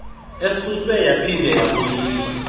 esuswe yaphinda yabuyiswa